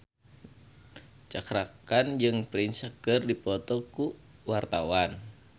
Cakra Khan jeung Prince keur dipoto ku wartawan